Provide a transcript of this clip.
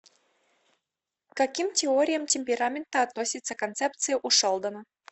к каким теориям темперамента относится концепция у шелдона